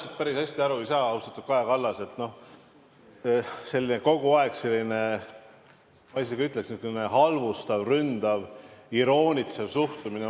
Ega ma päris hästi aru ei saa, austatud Kaja Kallas – no kogu aeg on selline, ma isegi ütleksin, halvustav, ründav, iroonitsev suhtumine.